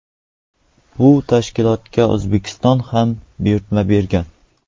Bu tashkilotga O‘zbekiston ham buyurtma bergan.